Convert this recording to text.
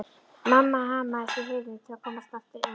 Mamma hamaðist á hurðinni til að komast aftur inn.